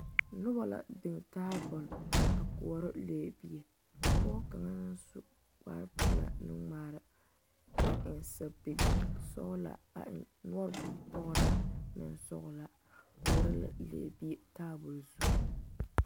Noba la biŋ tabol a koɔrɔ lɛbie pɔge kaŋa naŋ su kparepelaa nuŋmaara a eŋ sapige sɔglaa a eŋ noɔre bonpɔgraa bonsɔglaa koɔrɔ la lɛbie tabol zu.